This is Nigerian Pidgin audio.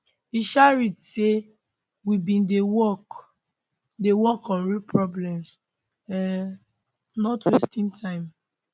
e um read say we bin dey work dey work on real problems um not wasting time